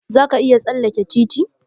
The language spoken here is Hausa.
Za ka iya tsalleke titi?